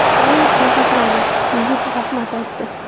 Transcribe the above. Doim shunaqa qiladi... Yigit rahmat aytdi.